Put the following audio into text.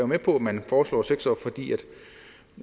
med på at man foreslår seks år fordi